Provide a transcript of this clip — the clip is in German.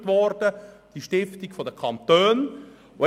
Die erwähnte Stiftung wurde von den Kantonen gegründet.